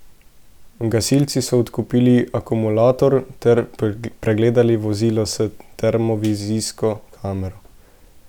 Gasilci so odklopili akumulator ter pregledali vozilo s termovizijsko kamero.